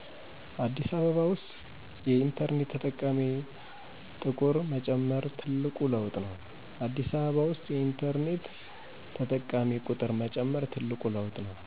አዲስ አበባ ውስጥ የኢንተርኔት ተጠቃሚ ጥቁር መጨመር ትልቅ ለውጥ ነው።